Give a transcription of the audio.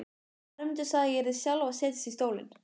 Hermundur sagði að ég yrði sjálf að setjast í stólinn.